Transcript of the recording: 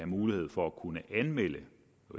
mulighed for at kunne anmelde